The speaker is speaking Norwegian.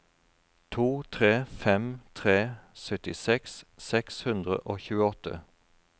to tre fem tre syttiseks seks hundre og tjueåtte